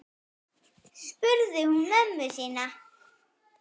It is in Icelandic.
spurði hún mömmu sína.